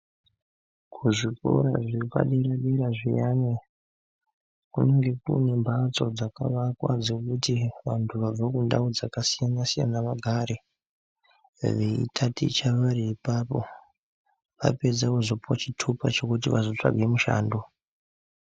Kuzvikora zvepadera dera zviyani kune mbatso dzekufi vantu vabva mundau dzakasiyana siyana vagare veitaticha vari ipapo vopedza vopuwa zvitupa zvekuti vazotsvaga mishando.